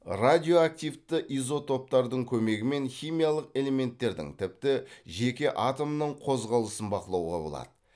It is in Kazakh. радиоактивті изотоптардың көмегімен химиялық элементтердің тіпті жеке атомның қозғалысын бақылауға болады